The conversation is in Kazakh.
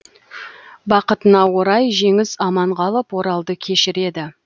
бақытына орай жеңіс аман қалып оралды кешіреді